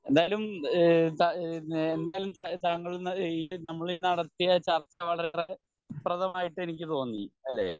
എന്തായാലും ഏഹ് ഏഹ് നമ്മൾ നടത്തിയ ചർച്ച വളരേ ഫലപ്രദമായിട്ടെനിക്ക് തോന്നി അല്ലെ